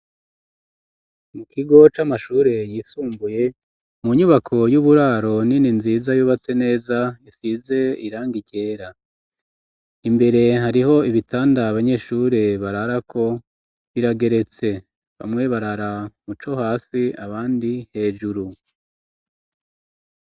Mu kigo c'amashure yisumbuye ,mu nyubako y'uburaro nini nziza yubatse neza, isize irangi ryera ,imbere hariho ibitanda abanyeshure bararako ,birageretse bamwe barara muco hasi ,abandi hejuru.